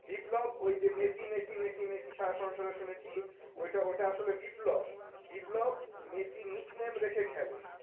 বিপ্লব ওই যে Messi Messi Messi Messi শুনেছি, ওটা ওটা আসলে বিপ্লব, বিপ্লব মেসি nickname রেখে খেলে